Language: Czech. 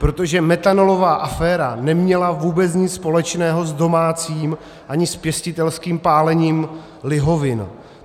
Protože metanolová aféra neměla vůbec nic společného s domácím ani s pěstitelským pálením lihovin.